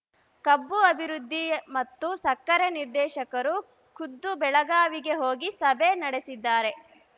ಕಬ್ಬು ಅಭಿವೃದ್ಧಿ ಮತ್ತು ಸಕ್ಕರೆ ನಿರ್ದೇಶಕರು ಖುದ್ದು ಬೆಳಗಾವಿಗೆ ಹೋಗಿ ಸಭೆ ನಡೆಸಿದ್ದಾರೆ